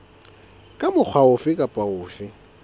ka mokgwa ofe kapa ofe